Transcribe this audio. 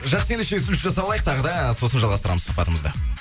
жақсы ендеше үзіліс жасап алайық тағы да сосын жалғастырамыз сұхбатымызды